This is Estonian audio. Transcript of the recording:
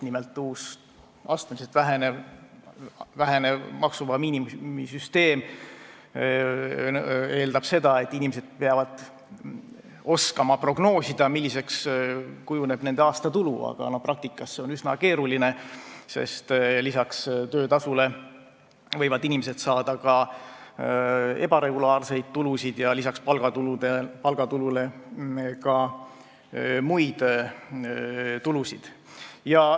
Nimelt, uus astmeliselt vähenev maksuvaba miinimumi süsteem eeldab seda, et inimesed peavad oskama prognoosida, milliseks kujuneb nende aastatulu, aga praktikas on see üsna keeruline, sest peale töötasu võivad inimesed saada ka ebaregulaarseid tulusid ja palgatulule lisaks muid tulusid.